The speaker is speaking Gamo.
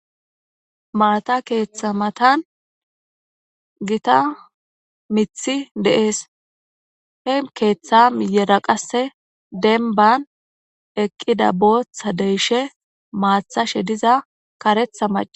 Maata keeththa matan gita mithi de7ees he keeththa miyera qasse denban eqqida booththa deyshe maathashe diza karetha macaa.